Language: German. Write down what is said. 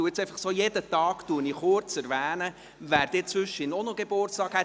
Aber ich werde jetzt jeden Tag kurz erwähnen, wer in der Zwischenzeit auch noch Geburtstag hatte.